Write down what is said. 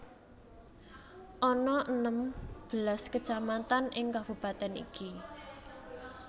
Ana enem belas kacamatan ing kabupatèn iki